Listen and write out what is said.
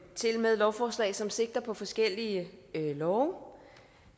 tilmed et lovforslag som sigter på forskellige love